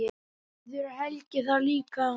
Verður Helgi þar líka?